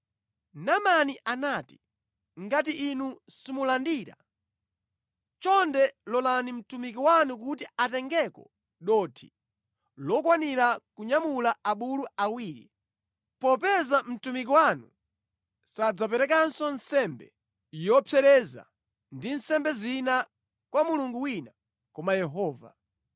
Naamani anati, “Ngati inu simulandira, chonde lolani mtumiki wanu kuti atengeko dothi lokwanira kunyamula abulu awiri, popeza mtumiki wanu sadzaperekanso nsembe yopsereza ndi nsembe zina kwa mulungu wina koma Yehova.